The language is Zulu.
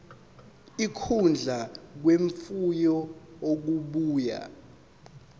ukudla kwemfuyo okubuya